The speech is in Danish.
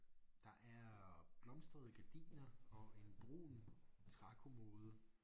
Der er blomstrede gardiner og en brun trækommode